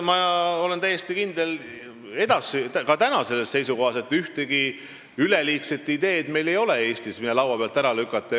Ma olen täiesti kindel ka praegu selles seisukohas, et ühtegi üleliigset ideed meil ei ole Eestis, mida laua pealt ära lükata.